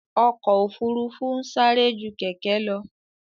Ọkò òfurufú ń sárẹ́ jú kẹ̀kẹ́ lọ.